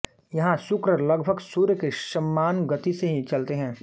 यहां शुक्र लगभग सूर्य के समान गति से ही चलते हैं